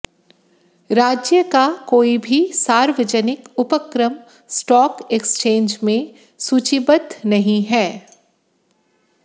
राज्य का कोई भी सार्वजनिक उपक्रम स्टॉक एक्सचेंज में सूचीबद्ध नहीं है